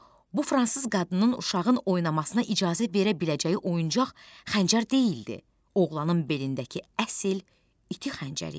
Bu fransız qadının uşağın oynamasına icazə verə biləcəyi oyuncaq xəncər deyildi, oğlanın belindəki əsl iti xəncər idi.